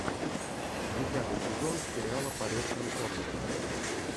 десятый сезон сериала полет конкордов